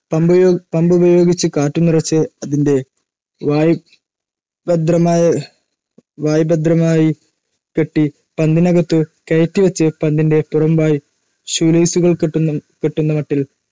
പമ്പുപയോഗിച്ച് കാറ്റു നിറച്ച് അതിന്റെ വായ് ഭദ്രമായി കെട്ടി പന്തിനകത്തു കയറ്റിവച്ച് പന്തിന്റെ പുറംവായ് ഷൂലേസുകൾ കെട്ടുന്ന മട്ടിൽ